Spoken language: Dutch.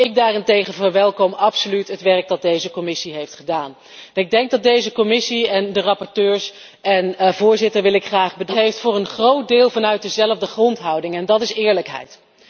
Dus ik daarentegen verwelkom absoluut het werk dat deze commissie heeft gedaan. Ik denk dat deze commissie en de rapporteurs en voorzitter wil ik graag bedanken voor een groot deel gewerkt heeft vanuit dezelfde grondhouding en die is eerlijkheid.